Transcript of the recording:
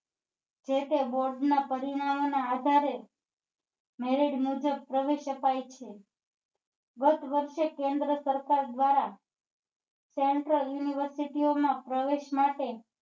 જે તે board ના પરિણામ ના આધારે married મુજબ પ્રવેશ અપાય છે ગત વર્ષે કેન્દ્ર સરકાર દ્વારા central university ઓ ના પ્રવેશ માટે